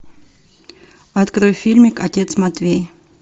открой фильмик отец матвей